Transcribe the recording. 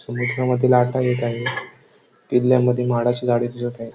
समुद्रा मधील लाटा येत आहे किल्या मध्ये माडाची झाडे दिसत आहे.